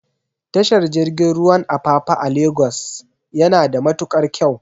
Tashar jirgin ruwan Apapa a Lagos yana da matukar kyau